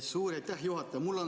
Suur aitäh, juhataja!